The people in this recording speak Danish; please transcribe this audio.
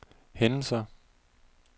hændelser